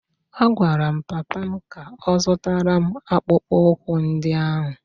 A gwara m papa m ka ọ zụtara m akpụkpọ ụkwụ ndị ahụ!